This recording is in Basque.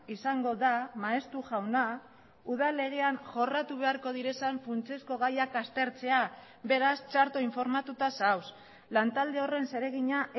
izango da maeztu jauna udal legean jorratu beharko diren funtsezko gaiak aztertzea beraz txarto informatuta zaude lantalde horren zeregina